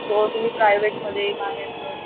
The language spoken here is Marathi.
जो तुम्ही प्रायव्हेट मध्ये बाहेर अ